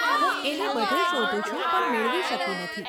હું એને બધે શોધું છું, પણ મેળવી શકી નથી.